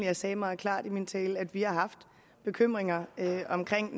jeg sagde meget klart i min tale at vi har haft bekymringer netop omkring